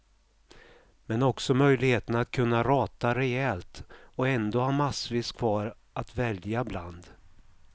Men också möjligheten att kunna rata rejält och ändå ha massvis kvar att välja bland.